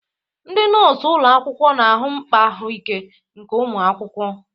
Ndị nọọsụ ụlọ akwụkwọ na-ahụ mkpa ahụike nke ụmụ akwụkwọ.